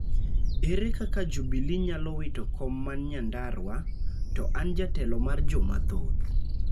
Ere kaka Jubili nyalo wito kom man Nyandarua, to an Jatelo mar joma thoth?